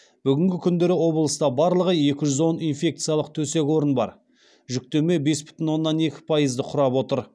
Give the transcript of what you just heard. бүгінгі күндері облыста барлығы екі жүз он инфекциялық төсек орын бар жүктеме бес бүтін оннан екі пайызды құрап отыр